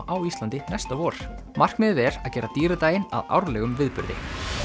á Íslandi næsta vor markmiðið er að gera að árlegum viðburði